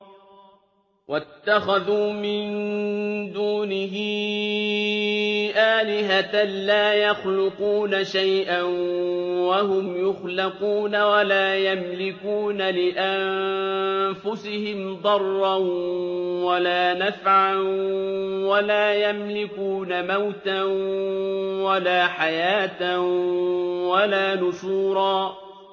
وَاتَّخَذُوا مِن دُونِهِ آلِهَةً لَّا يَخْلُقُونَ شَيْئًا وَهُمْ يُخْلَقُونَ وَلَا يَمْلِكُونَ لِأَنفُسِهِمْ ضَرًّا وَلَا نَفْعًا وَلَا يَمْلِكُونَ مَوْتًا وَلَا حَيَاةً وَلَا نُشُورًا